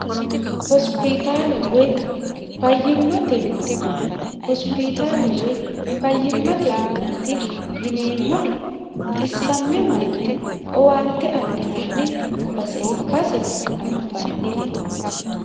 hosipitaale woy fayyimmate minna hosipitaale woy fayyimmate minnaati yineemmori xissamme marre owaante adhinanni base ikkase anfannite